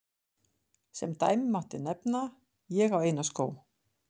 Sem dæmi mætti nefna: Ég á eina skó.